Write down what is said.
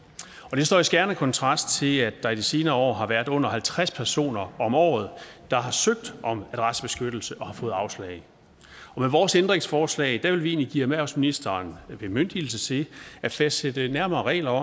står i skærende kontrast til at der i de senere år har været under halvtreds personer om året der har søgt om adressebeskyttelse og har fået afslag og med vores ændringsforslag vil vi egentlig give erhvervsministeren bemyndigelse til at fastsætte nærmere regler